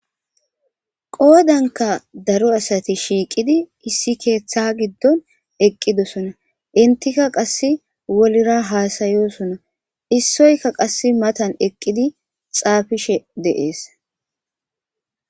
Qoodanka daro asati shiiqidi issi keeththa giddon eqqidosona intika qass wolira haasayosona issoyka qass matan eqqidi xaafishe deees